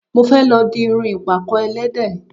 Mo fẹ́ lọ di irun ìpàkọ́ ẹlẹ́dẹ̀